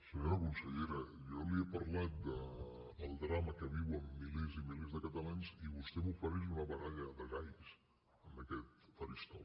senyora consellera jo li he parlat del drama que viuen milers i milers de catalans i vostè m’ofereix una baralla de galls en aquest faristol